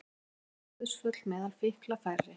Ótímabær dauðsföll meðal fíkla færri